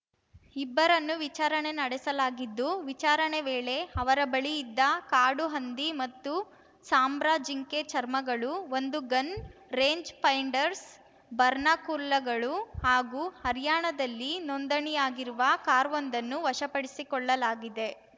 ಇಬ್ಬರನ್ನು ವಿಚಾರಣೆ ನಡೆಸಲಾಗಿದ್ದು ವಿಚಾರಣೆ ವೇಳೆ ಅವರ ಬಳಿ ಇದ್ದ ಕಾಡು ಹಂದಿ ಮತ್ತು ಸಾಂಬ್ರಾ ಜಿಂಕೆ ಚರ್ಮಗಳು ಒಂದು ಗನ್‌ ರೇಂಜ್‌ ಫೈಂಡರ್ಸ್ ಬಾರ್ನಾಕುಲ್ಲಗಳು ಹಾಗೂ ಹರ್ಯಾಣದಲ್ಲಿ ನೋಂದಣಿಯಾಗಿರುವ ಕಾರ್‌ವೊಂದನ್ನು ವಶಪಡಿಸಿಕೊಳ್ಳಲಾಗಿದೆ